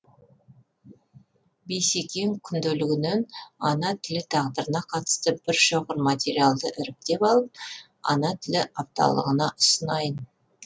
бейсекең күнделігінен ана тілі тағдырына қатысты бір шоғыр материалды іріктеп алып ана тілі апталығына ұсынайын